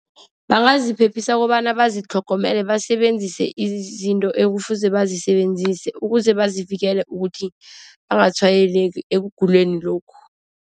Bangaziphephisa kobana bazitlhogomele basebenzise izinto ekufuze bazisebenzise. Ukuze bazivikele ukuthi bangatshwayeleki ekuguleni lokhu.